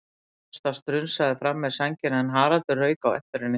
Ásta strunsaði fram með sængina en Haraldur rauk á eftir henni.